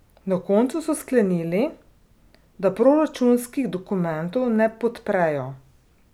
Na koncu so sklenili, da proračunskih dokumentov ne podprejo.